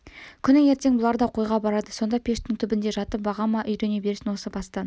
күні ертең бұлар да қойға барады сонда пештің түбінде жатып баға ма үйрене берсін осы бастан